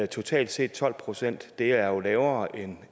totalt set tolv procent det er jo lavere end